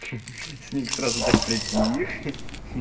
снег сразу так притих